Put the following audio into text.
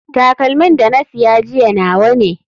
Takalmin da na sa jiya nawa ne.